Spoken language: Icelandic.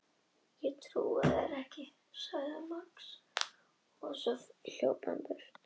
Hann hvarf jafnfljótt af heimilinu og maður sem deyr skyndilega af slysförum.